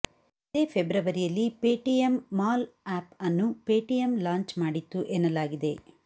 ಇದೇ ಫೆಬ್ರವರಿಯಲ್ಲಿ Paytm mall app ಅನ್ನು ಪೇಟಿಎಂ ಲಾಂಚ್ ಮಾಡಿತ್ತು ಎನ್ನಲಾಗಿದೆ